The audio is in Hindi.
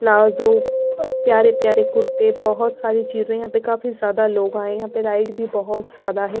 प्लाजो अ प प्यारे प्यारे कुर्ते बहुत सारी चीजें यहाँ पे काफी ज्यादा लोग आए हैं यहाँ पे लाइट भी बहुत ज्यादा है ।